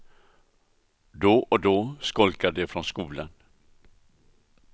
Då och då skolkar de från skolan.